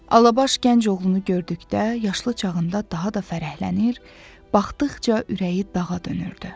Alabaş gənc oğlunu gördükdə yaşlı çağında daha da fərəhlənir, baxdıqca ürəyi dağa dönürdü.